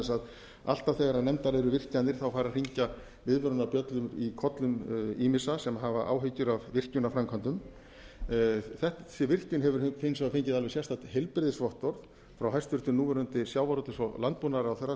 þess að alltaf þegar nefndar eu virkjanir fer að hringja viðvörunarbjöllum í kollum missa sem hafa áhyggjur af virkjunarframkvæmdum að þessi virkjun hefur hins vegar fengið alveg sérstakt heilbrigðisvottorð frá hæstvirtum núv sjávarútvegs og landbúnaðarráðherra